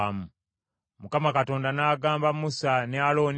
Mukama Katonda n’agamba Musa ne Alooni nti,